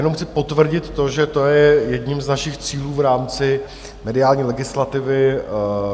Jenom chci potvrdit to, že to je jedním z našich cílů v rámci mediální legislativy.